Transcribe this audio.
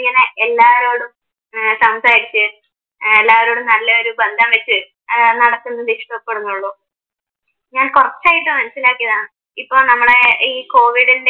എല്ലാരോടും സംസാരിച്ച് ഏർ എല്ലാരോടും നല്ലയൊരു ബന്ധം വച്ച് ഏർ നടക്കുന്നത് ഇഷ്ട്ടപെടുന്നുള്ളു ഞാൻ കുറച്ചായിട്ട് മനസ്സിലാക്കിയതാണ് ഇപ്പൊ നമ്മള് ഈ കോവിഡിൻ്റെ